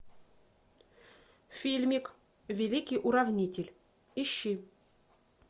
фильмик великий уравнитель ищи